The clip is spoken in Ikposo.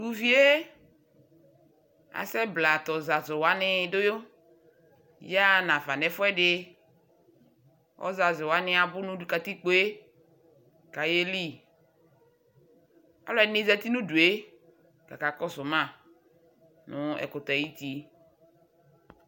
to uvie asɛ bla to ɔzazo wani do yaɣa no afa no ɛfuɛdi ɔzazo wani abo no katikpoe ko ayeli alo ɛdini zati no udue ko akakɔso ma no ɛkutɛ ayiti